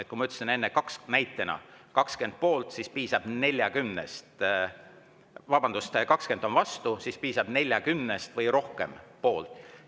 Nagu ma ütlesin enne näitena, kui 20 on vastu, siis piisab, kui 40 on poolt.